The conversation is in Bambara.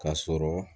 Ka sɔrɔ